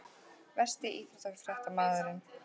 Versti íþróttafréttamaðurinn?